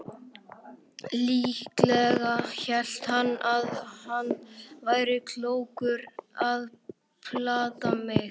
Líklega hélt hann að hann væri klókur að plata mig.